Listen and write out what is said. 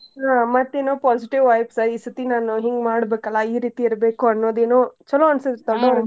ಹಾ ಮತ್ತೇನೋ positive vibes ಈ ಸರ್ತಿ ನಾನ್ ಹಿಂಗ್ ಮಾಡ್ಬೇಕಲ್ಲ ಈ ರೀತಿ ಇರ್ಬೇಕು ಅನ್ನೋದೆನೋ ಚಲೋ ಅನ್ಸುತ್ ದೊಡ್ಡೊರ್ಗೆ .